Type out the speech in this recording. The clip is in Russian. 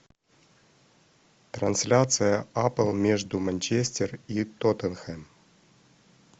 трансляция апл между манчестер и тоттенхэм